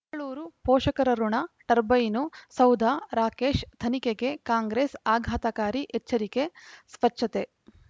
ಬೆಂಗಳೂರು ಪೋಷಕರಋಣ ಟರ್ಬೈನು ಸೌಧ ರಾಕೇಶ್ ತನಿಖೆಗೆ ಕಾಂಗ್ರೆಸ್ ಆಘಾತಕಾರಿ ಎಚ್ಚರಿಕೆ ಸ್ವಚ್ಛತೆ